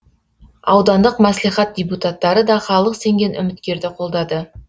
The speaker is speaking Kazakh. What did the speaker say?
аудандық мәслихат депутаттары да халық сенген үміткерді қолдады